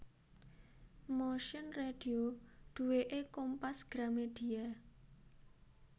Motion Radio duweke Kompas Gramedia